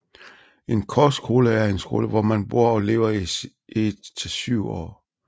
En kostskole er en skole hvor man bor og lever i et til syv år